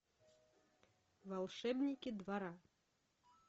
волшебники двора